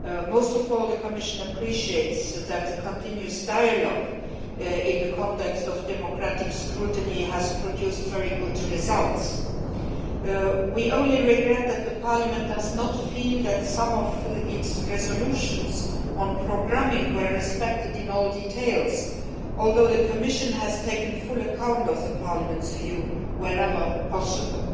Most of all, the Commission appreciates that the continuing dialogue in the context of democratic scrutiny has produced very good results. We only regret that Parliament does not feel that some of its resolutions on programming were respected in every detail, although the Commission has taken full account of Parliament's view wherever possible.